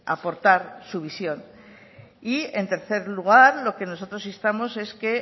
aportar su visión y en tercer lugar lo que nosotros instamos es que